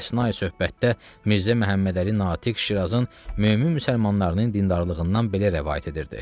Əsnai söhbətdə Mirzə Məhəmmədəli Natiq Şirazın mömin müsəlmanlarının dindarlığından belə rəvayət edirdi.